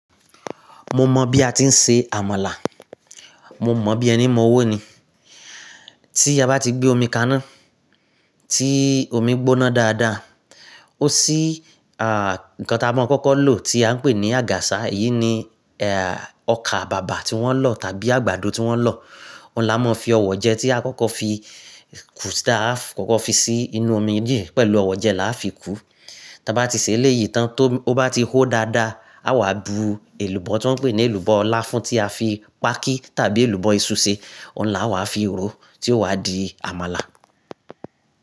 Mo mọ̀ bí a ti ń se àmàlà, mo mọ̀ bí ẹni mọ́ owó ni. Tí a bá ti gbé omi kaná, tí omi gbóná dáadáa, ó sí à, nǹkan tá a mọ̀ kọ́kọ́ lò tí a ń pè ní àgàsà. Èyí ni eh ọkà bàbà tí wọ́n lọ̀ tàbí àgbàdo tí wọ́n lọ̀. Òun là mọ fi ọ̀wọ̀ jẹ tí a kọ́kọ́ fi, kù tá a kọ́kọ́ fi sí inú omi dìé pẹ̀lú ọ̀wọ̀ jẹ la fi kú. Tí a bá ti ṣe léyìí tán tó ó bá ti hó dáadáa, a wà bú èlùbọ́ tí wọ́n pè ní èlùbọ́ ọ̀la fún tí a fi pákí tàbí èlùbọ́ iṣu ṣe. Òun là wà fi ró tí ó wà di àmàlà.